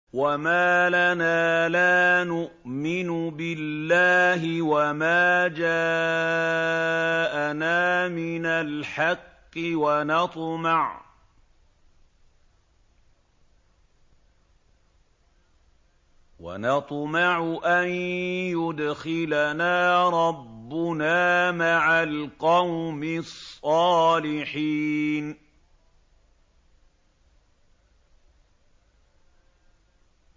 وَمَا لَنَا لَا نُؤْمِنُ بِاللَّهِ وَمَا جَاءَنَا مِنَ الْحَقِّ وَنَطْمَعُ أَن يُدْخِلَنَا رَبُّنَا مَعَ الْقَوْمِ الصَّالِحِينَ